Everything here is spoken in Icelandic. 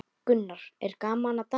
Gunnar: Er gaman að dansa?